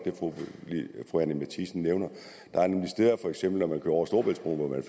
til det fru anni matthiesen nævner der er nemlig steder for eksempel når man kører over storebæltsbroen